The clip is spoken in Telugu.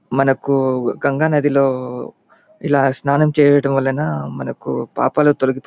మనకు గంగ నదిలో ఇలా స్నానం చేయడం వలన మనకు పాపాలు తొలగి --